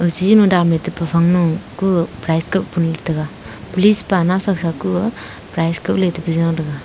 aji e dannu taphang nu ku prize kap gulu taga police pa nawsa ka ko prize kola taga.